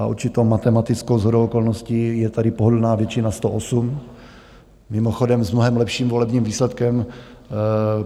A určitou matematickou shodou okolností je tady pohodlná většina 108, mimochodem, s mnohem lepším volebním výsledkem.